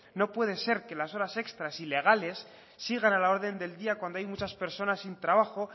no puede ser que las horas extras ilegales sigan a la orden del día cuando hay muchas personas sin trabajo